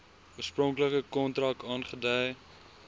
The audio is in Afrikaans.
oorspronklike kontrak aangedui